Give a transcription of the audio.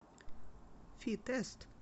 фи тест